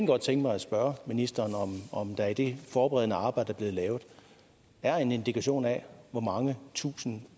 godt tænke mig at spørge ministeren om der i det forberedende arbejde blevet lavet er en indikation af hvor mange tusinde